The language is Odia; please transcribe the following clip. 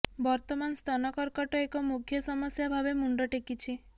ବର୍ତ୍ତମାନ ସ୍ତନ କର୍କଟ ଏକ ମୁଖ୍ୟ ସମସ୍ୟା ଭାବେ ମୁଣ୍ଡ ଟେକିଛି